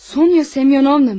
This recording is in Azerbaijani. Sonya Semyonova mi?